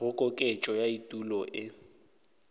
go koketšo ya etulo ye